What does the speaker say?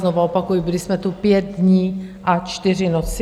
Znovu opakuji, byli jsme tu pět dní a čtyři noci.